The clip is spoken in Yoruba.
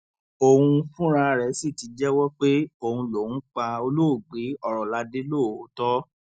òun fúnra rẹ sì ti jẹwọ pé òun lòún pa olóògbé ọrọládẹ lóòótọ